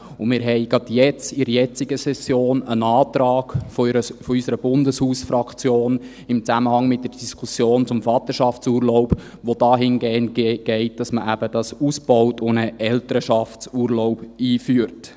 Wir hatten gerade in der jetzigen Session einen Antrag unserer Bundeshausfraktion im Zusammenhang mit der Diskussion zum Vaterschaftsurlaub, der dahingehend lautet, dass man dies eben ausbaut und einen Elternschaftsurlaub einführt.